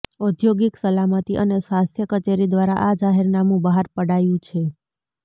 ઔદ્યોગિક સલામતી અને સ્વાસ્થ્ય કચેરી દ્વારા આ જાહેરનામું બહાર પડાયું છે